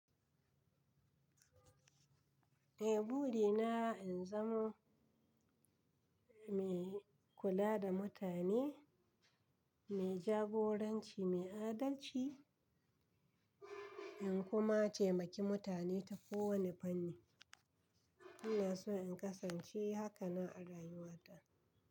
Eh buri na in zamo mai kula da mutane, mai jagoranci, mai adalci in kuma taimaki mutane ta ko wane fanni. Ina so in kasance haka na a rayuwa ta.